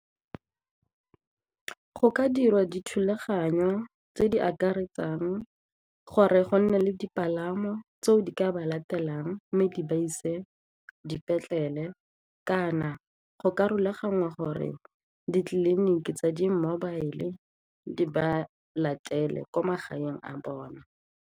Go ka dirwa dithulaganyo tse di akaretsang gore go nne le dipalamo tseo di ka ba latelang mme di ba ise dipetlele kana go ka rulaganngwa gore ditleliniki tsa di-mobile di ba latele ko magaeng a bone.